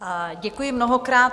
Děkuji mnohokrát.